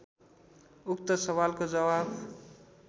उक्त सवालको जवाफ